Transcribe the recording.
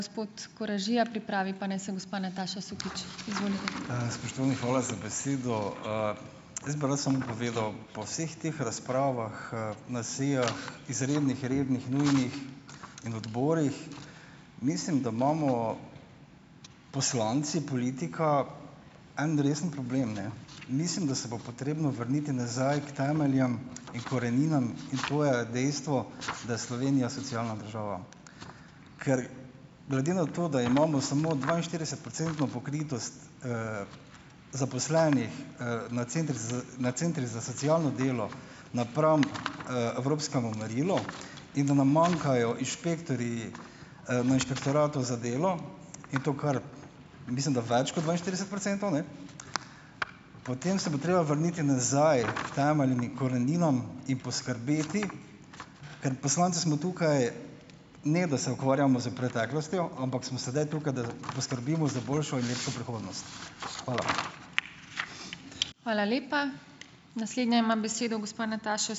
Spoštovani, hvala za besedo. Jaz bi samo povedal, po vseh teh razpravah na sejah, izrednih, rednih, nujnih, in odborih, mislim, da imamo poslanci, politika, en resen problem, ne. Mislim, da se bo potrebno vrniti nazaj k temeljem in koreninam, ki tvorijo dejstvo, da Slovenija socialna država. Glede na to, da imamo samo dvainštiridesetprocentno pokritost zaposlenih, na centriz na centrih za socialno delo napram, evropskemu merilu in da nam manjkajo inšpektorji, na Inšpektoratu za delo, in to kar, mislim, da več kot dvainštirideset procentov, ne, potem se bo treba vrniti nazaj k temeljem in koreninam in poskrbeti, ker poslanci smo tukaj, ne, da se ukvarjamo s preteklostjo, ampak smo sedaj tukaj, da poskrbimo za boljšo in lepšo prihodnost. Hvala.